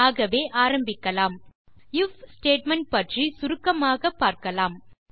ஆகவே ஆரம்பிக்கலாம் if statement பற்றி சுருக்கமாக பார்க்கலாம்